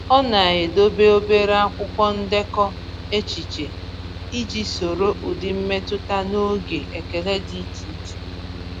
Ọ na-edobe obere akwụkwọ ndekọ echiche iji soro ụdị mmetụta na oge ekele dị iche iche.